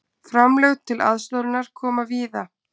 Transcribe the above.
Framlög til aðstoðarinnar koma víða